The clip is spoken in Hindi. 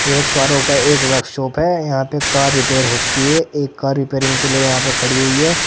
ये कारों का एक वर्कशॉप है यहां पे कार रिपेयर होती है एक कार रिपेयरिंग के लिए यहां पे खड़ी हुई है।